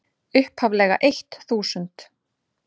upphaflega eitt þúsund.